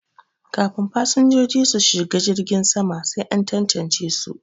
Kafin fasinjoji su shiga jirgin sama sai an tantance su